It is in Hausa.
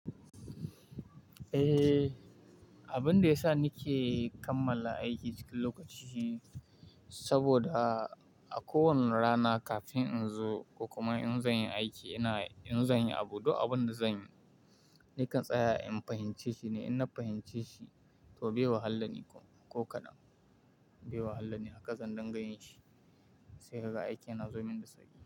Eh, abin da yasa ni ke kammala aiki cikin lokaci shi saboda a kowane rana kafin in zo ko kuma in zan yi aiki, ina in zan yi abubuwan da zan yi. Nikan tsaya in fahimce shi ne, in na fahimce shi to bai wahala ni ko kaɗan. Bai wahala ni haka sanin ga yin shi sai haka aiki na zo min da sauri.